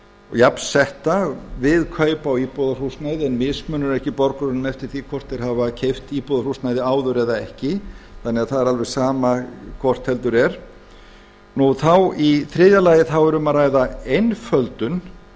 jafnsetta við kaup á íbúðarhúsnæði en mismunur ekki borgurum eftir því hvort þeir hafa keypt íbúðarhúsnæði áður eða ekki vegna þess að það er alveg sama hvort heldur er þá í þriðja lagi þá er um að ræða einföldun